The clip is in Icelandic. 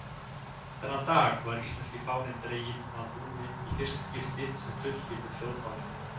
Þennan dag var íslenski fáninn dreginn að húni í fyrsta skipti sem fullgildur þjóðfáni.